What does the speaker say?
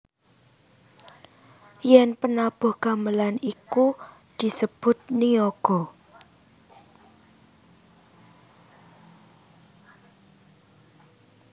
Yen penabuh gamelan iku disebut niyaga